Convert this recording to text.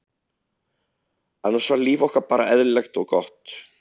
annars var líf okkar bara eðlilegt og gott.